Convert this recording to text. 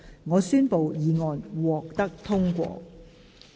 我宣布議案獲得通過。